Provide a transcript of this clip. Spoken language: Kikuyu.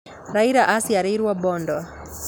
Raila aciarĩirwo Mbondo